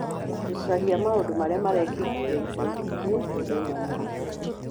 gũcaria maũndũ marĩa marekĩkire ica ikuhĩ mũthenya mũna